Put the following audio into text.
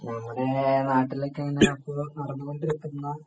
നമ്മുടെ നാട്ടിലൊക്കെ ഇങ്ങനെ ഇപ്പൊ നടന്നുകൊണ്ടിരിക്കുന്ന